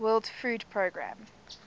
world food programme